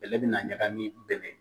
Bɛlɛ bina ɲagami